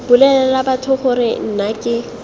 bolelela batho gore nna ke